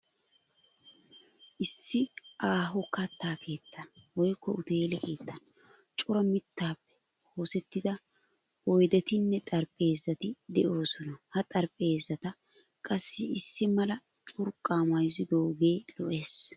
Issi aaho katta keettan woykko uteele keettan cora mittaappe oosettida oydettinne xaraphpheezati de'oosona. Ha xaraphpheezata qassi issi mala curqqaa mayizidoogee lo'ees.